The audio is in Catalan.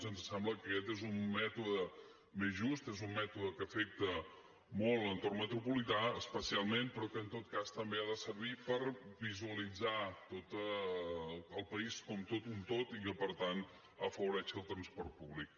ens sembla que aquest és un mètode més just és un mètode que afecta molt l’entorn metropolità especialment però que en tot cas també ha de servir per visualitzar el país com tot un tot i que per tant afavoreixi el transport públic